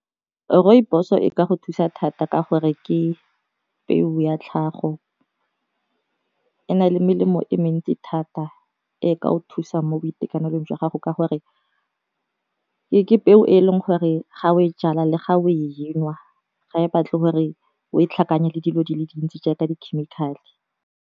Rooibos-o e ka go thusa thata ka gore ke peo ya tlhago e na le melemo e mentsi thata e ka o thusang mo boitekanelong jwa gago ka gore, ke peo e leng gore ga o e jala le ga o e nwa ga e batle gore o e tlhakanya le dilo di le dintsi jaaka di chemical-e.